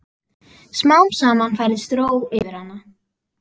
Smám saman færist ró yfir hana.